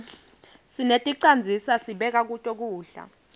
seneticandzisa sibeka kuto kudla